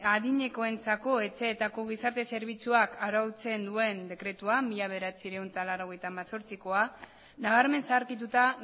adinekoentzako etxeetako gizarte zerbitzuak arautzen duen dekretua mila bederatziehun eta laurogeita hemezortzikoa nabarmen zaharkituta